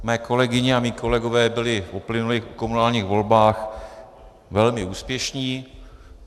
Mé kolegyně a mí kolegové byli v uplynulých komunálních volbách velmi úspěšní.